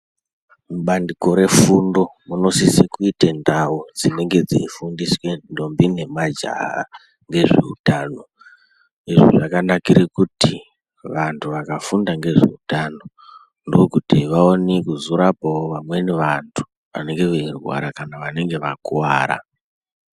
Bandiko refundo munosiso kuita ndau dzinenge dzichifundiswa ndombi nemajaha ngezveutano izvi zvakanakira kuti vantu vakafunda ngezveutano ndokuti vaone kuzorapawo vantu vanenge veirwara kana vanenge vakuwara.